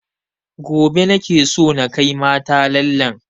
Gobe nake so na kai mata lallen